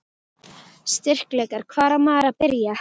Styrkleikar: Hvar á maður að byrja?